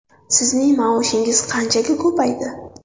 Sizning maoshingiz qanchaga ko‘paydi?